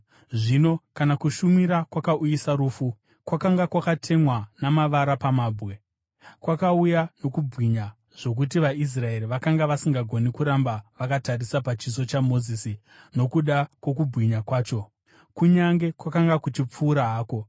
Zvino kana kushumira kwakauyisa rufu, kwakanga kwakatemwa namavara pamabwe, kwakauya nokubwinya zvokuti vaIsraeri vakanga vasingagoni kuramba vakatarisa pachiso chaMozisi nokuda kwokubwinya kwacho, kunyange kwakanga kuchipfuura hako,